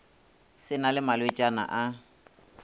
se na le malwetšana a